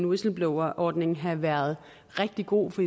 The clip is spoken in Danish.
whistleblowerordning have været rigtig god for